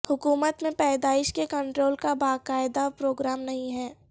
حکومت میں پیدائش کے کنٹرول کا باقاعدہ پروگرام نہیں ہے